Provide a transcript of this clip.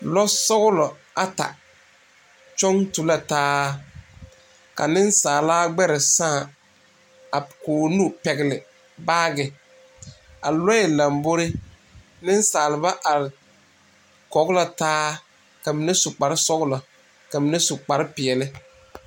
Lɔsɔglɔ ata kyɔŋ tu la taa ka nensaala gbɛre sãã a k,o nu pɛgle baage a lɔɛ lambori nensaalba are kɔge la taa ka mine su kparesɔglɔ ka mine su kparepeɛle.